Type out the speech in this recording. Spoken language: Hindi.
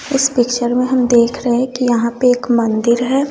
इस पिक्चर में हम देख रहे की यहां पे एक मंदिर है।